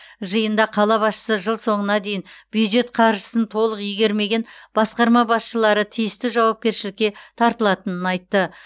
жиында қала басшысы жыл соңына дейін бюджет қаржысын толық игермеген басқарма басшылары тиісті жауапкершілікке тартылатынын айтты